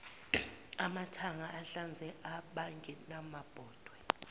amathanga ahlanzela abangenamabhodwe